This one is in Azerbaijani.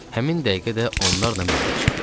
Həmin dəqiqə də onlarla mənbə çıxdı.